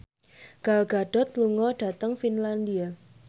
Gal Gadot lunga dhateng Finlandia